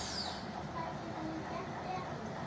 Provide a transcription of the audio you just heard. Hvað getum við gert betur?